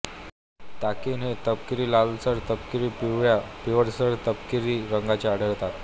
ताकिन हे तपकिरीलालसर तपकिरी पिवळ्या पिवळसरतपकिरी रंगाचे आढळतात